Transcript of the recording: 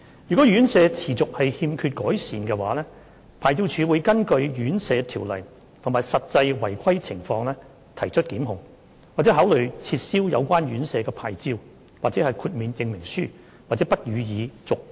若院舍持續欠缺改善，牌照處會根據《殘疾人士院舍條例》及實際違規情況提出檢控，或考慮撤銷有關院舍的牌照/豁免證明書或不予以續期。